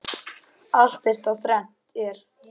Allt er þá þrennt er.